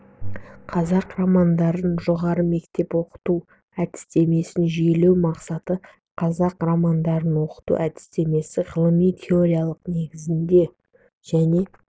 қазақ романдарын жоғары мектепте оқыту әдістемесін жүйелеу мақсаты қазақ романдарын оқыту әдістемесін ғылыми теориялық негіздеу және